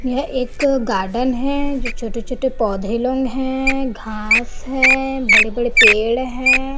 यह एक गार्डन है जो छोटे-छोटे पौधे लोग है घास है बड़े-बड़े पेड़ है।